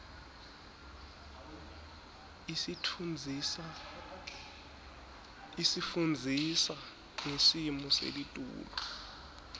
isifundzisa ngesimo selitulu